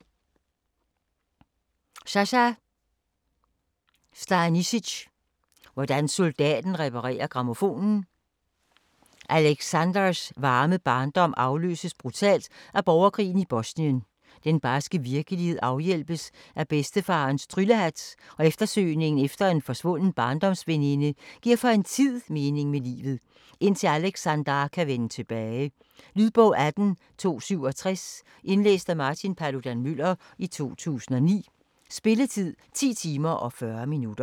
Stanišić, Saša: Hvordan soldaten reparerer grammofonen Aleksandars varme barndom afløses brutalt af borgerkrigen i Bosnien. Den barske virkelighed afhjælpes af bedstefarens tryllehat, og eftersøgningen efter en forsvunden barndomsveninde giver for en tid mening med livet, indtil Aleksandar kan vende tilbage. Lydbog 18267 Indlæst af Martin Paludan-Müller, 2009. Spilletid: 10 timer, 40 minutter.